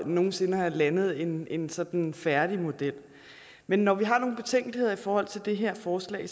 nogen sinde at have landet en en sådan færdig model men når vi har nogle betænkeligheder i forhold til det her forslag